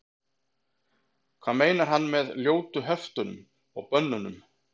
hvað meinar hann með ljótu höftunum og bönnunum